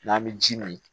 N'an bɛ ji min